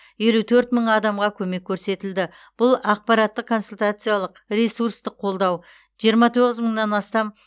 елу төрт мың адамға көмек көрсетілді бұл ақпараттық консультациялық ресурстық қолдау жиырма тоғыз мыңнан астам